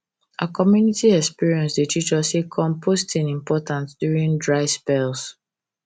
our community experience dey teach us say composting important during dry spells